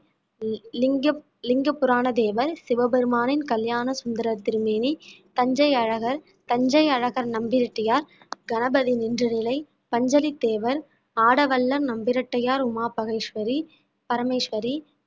இலிங்க~ இலிங்கபுராண தேவர், சிவபெருமானின் கல்யாண சுந்தர திருமேனி, தஞ்சை அழகர், தஞ்சை அழகர் நம்பிராட்டியார், கணபதி நின்ற நிலை, பஞ்சலித் தேவர், ஆடவல்லார் நம்பிராட்டியார் உமா பரமேஸ்வரி பரமேஸ்வரி